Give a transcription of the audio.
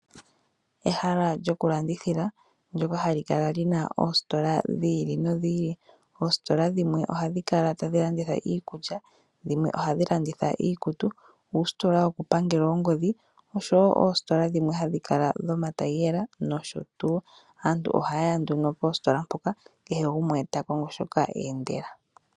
Ehala lyokulandithila ndyoka hali kala li na oositola dhi ili nodhi ili. Oositola dhimwe ohadhi kala tadhi landitha iikulya, dhimwe ohadhi kala tadhi landitha iikutu, uusitola wokupangela oongodhi, oshowo oositola dhimwe hadhi kala dhomatayiyela nosho tuu. Aantu ohaya nduno poositola mpoka kehe gumwe ta kongo shoka e endela.